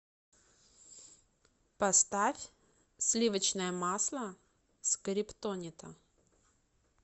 поставь сливочное масло скриптонита